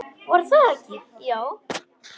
Var það ekki, já!